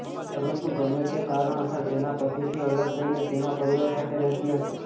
પરંતુ ગમે તે કારણોસર તેના પતિથી અલગ થઈ તેના પરિવાર સાથે રહેતી હતી